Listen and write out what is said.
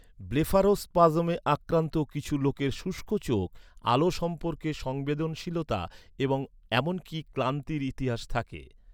ব্লেফারোস্পাজমে আক্রান্ত কিছু লোকের শুষ্ক চোখ, আলো সম্পর্কে সংবেদনশীলতা এবং এমনকি ক্লান্তির ইতিহাস থাকে।